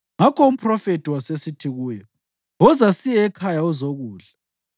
Ngakho umphrofethi wasesithi kuye, “Woza siye ekhaya uzokudla.”